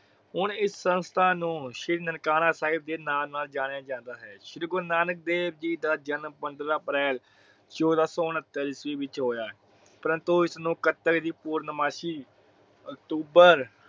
ਹੁਣ ਇਸ ਸੰਸਥਾ ਨੂੰ ਸ਼੍ਰੀ ਨਨਕਾਣਾ ਸਾਹਿਬ ਦੇ ਨਾਮ ਨਾਲ ਜਾਣਿਆ ਜਾਂਦਾ ਹੈ। ਸ਼੍ਰੀ ਗੁਰੂ ਨਾਨਕ ਦੇਵ ਜੀ ਦਾ ਜਨਮ ਪੰਦਰ੍ਹਾਂ April ਚੋਦਹ ਸੋ ਉਨਹਤਰ ਈਸਵੀ ਵਿਚ ਹੋਇਆ। ਪ੍ਰੰਤੂ ਇਸਨੂੰ ਕੱਤੇ ਦੀ ਪੂਰਨਮਾਸ਼ੀ October